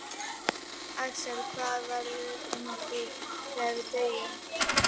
Axel: Hvað verður um okkur þegar við deyjum?